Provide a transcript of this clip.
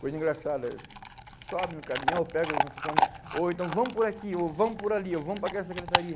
Coisa engraçada, sobe no caminhão, pega o microfone, ou então vamos por aqui, ou vamos por ali, ou vamos para aquela secretaria.